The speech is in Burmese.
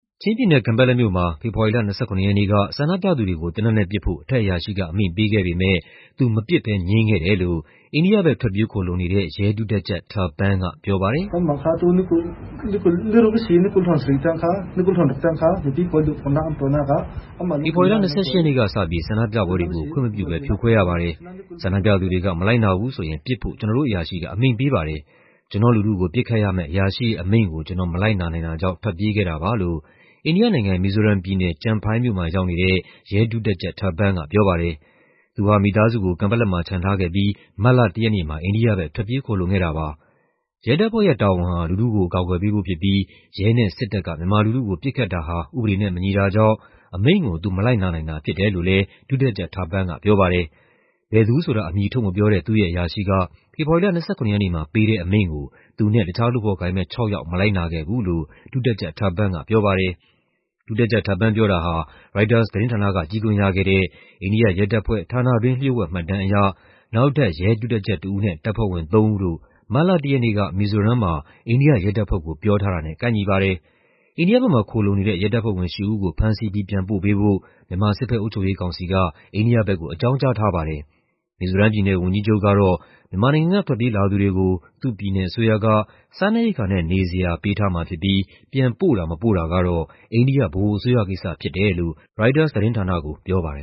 ချင်းပြည်နယ်၊ ကန်ပက်လက်မြို့မှာ ဖေဖော်ဝါရီလ ၂၇ ရက်နေ့က ဆန္ဒပြသူတွေကို သေနတ်နဲ့ပစ်ဖို့ အထက်အရာရှိက အမိန့်ပေးခဲ့ပေမဲ့ သူမပစ်ဘဲ ငြင်းခဲ့တယ်လို့ အိန္ဒိယဘက် ထွက်ပြေးခိုလှုံနေတဲ့ ရဲဒုတပ်ကြပ် ထာပန်းက ပြောပါတယ်။ "ဖေဖော်ဝါရီလ ၂၈ ရက်နေ့ကစပြီး ဆန္ဒပြပွဲတွေကို ခွင့်မပြုဘဲ ဖြိုခွဲရပါတယ်။ ဆန္ဒပြသူတွေက မလိုက်နာဘူးဆိုရင် ပစ်ဖို့ ကျနော်တို့အရာရှိက အမိန့်ပေးပါတယ်။ ကျနော့်လူထုကို ပစ်ခတ်ရမယ့် အရာရှိရဲ့ အမိန့်ကို ကျနော်မလိုက်နာနိုင်တာကြောင့် ထွက်ပြေးခဲ့တာပါ။"လို့ အိန္ဒိယနိုင်ငံ၊ မီဇိုရမ်ပြည်နယ်၊ ကျန်ဖိုင်းမြို့မှာရောက်နေတဲ့ ရဲ ဒုတပ်ကြပ် ထာပန်းကပြောပါတယ်။ သူဟာ မိသားစုကို ကန်ပက်လက်မှာ ချန်ထားခဲ့ပြီး မတ်လ ၁ ရက်နေ့မှာ အိန္ဒိယဘက် ထွက်ပြေးခိုလှုံခဲ့တာပါ။ ရဲတပ်ဖွဲ့ရဲ့တာဝန်ဟာ လူထုကို အကာအကွယ်ပေးဖို့ဖြစ်ပြီး ရဲနဲ့စစ်တပ်က မြန်မာလူထုကို ပစ်ခတ်တာဟာ ဥပဒေနဲ့မညီတာကြောင့် အမိန့်ကို သူမလိုက်နာနိုင်တာဖြစ်တယ်လို့လည်း ဒုတပ်ကြပ်ထာပန်းက ပြောပါတယ်။ ဘယ်သူဆိုတာ အမည်ထုတ်မပြောတဲ့ သူ့ရဲ့အရာရှိက ဖေဖော်ဝါရီလ ၂၇ ရက်နေ့မှာ ပေးတဲ့အမိန့်ကို သူနဲ့ တခြားလုပ်ဖော်ကိုင်ဘက် ၆ ယောက် မလိုက်နာခဲ့ဘူးလို့ ဒုတပ်ကြပ်ထာပန်းက ပြောပါတယ်။ ဒုတပ်ကြပ်ထာပန်း ပြောတာဟာ ရိုက်တာသတင်းဌာနက ကြည့်ခွင့်ရခဲ့တဲ့ အိန္ဒိယရဲတပ်ဖွဲ့ ဌာနတွင်း လ ျှို့ဝှက်မှတ်တမ်းအရ နောက်ထပ် ရဲ ဒုတပ်ကြပ်တဦးနဲ့ တပ်ဖွဲ့ဝင်သုံးဦးတို့ မတ်လ ၁ ရက်နေ့က မီဇီုရမ်မှာ အိန္ဒိယရဲတပ်ဖွဲ့ကို ပြောထားတာနဲ့ ကိုက်ညီပါတယ်။ အိန္ဒိယဘက်မှာ ခိုလှုံနေတဲ့ ရဲတပ်ဖွဲ့ဝင် ၈ ဦးကို ဖမ်းဆီးပြီး ပြန်ပို့ပေးဖို့ မြန်မာ စစ်ဘက်အုပ်ချုပ်ရေးကောင်စီက အိန္ဒိယဘက်ကို အကြောင်းကြားထားပါတယ်။ မီဇိုရမ်ပြည်နယ် ဝန်ကြီးချုပ်ကတော့ မြန်မာနိုင်ငံက ထွက်ပြေးလာသူတွေကို သူ့ပြည်နယ်အစိုးရက စားနပ်ရိက္ခာနဲ့ နေစရာပေးထားမှာဖြစ်ပြီး ပြန်ပို့တာ၊ မပို့တာကတော့ အိန္ဒိယ ဗဟိုအစိုးရကိစ္စဖြစ်တယ်လို့ ရိုက်တာသတင်းဌာနကိုပြောပါတယ